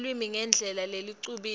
lulwimi ngendlela lecubile